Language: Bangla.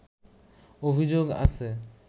অভিযোগ আছে